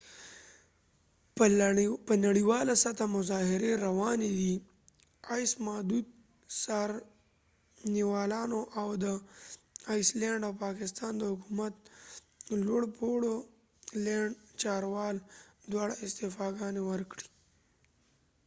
په نړیواله سطحه مظاهرې روانی وي ، معددو څارنوالانو ،او د آیس لینډ ice land او پاکستان د حکومت لوړ پوړو چارواکو دواړو استعفا ګانی ورکړي